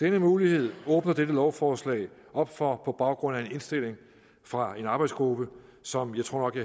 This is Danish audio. denne mulighed åbner dette lovforslag op for på baggrund af en indstilling fra en arbejdsgruppe som jeg tror jeg